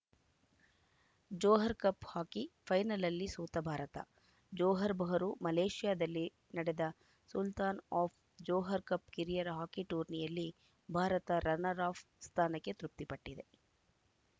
Johar cup hockey ಫೈನಲಲ್ಲಿ ಸೋತ Bharat Johor Bahru ಮಲೇಷ್ಯಾದಲ್ಲಿ ನಡೆದ ಸುಲ್ತಾನ್‌ ಆಫ್‌ ಜೋಹರ್‌ ಕಪ್‌ ಕಿರಿಯರ ಹಾಕಿ ಟೂರ್ನಿಯಲ್ಲಿ ಭಾರತ ರನ್ನರ್‌ಅಫ್ ಸ್ಥಾನಕ್ಕೆ ತೃಪ್ತಿಪಟ್ಟಿದೆ